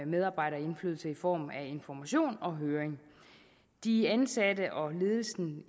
medarbejderindflydelse i form af information og høring de ansatte og ledelsen